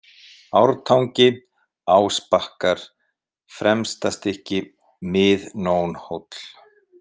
Ártangi, Ásbakkar, Fremstastykki, Mið-Nónhóll